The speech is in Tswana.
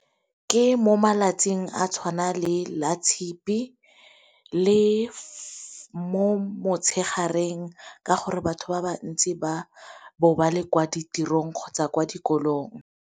Ke mo malatsing a tshwana le latshipi le mo motshegareng ka gore batho ba bantsi ba bo ba le kwa ditirong kgotsa kwa dikolong.